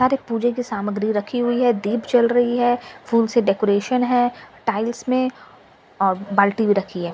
सारे पूजे की सामग्री रखी हुई है दीप जल रही है फूल से डेकोरेशन है टाइल्स में और बाल्टी भी रखी है ।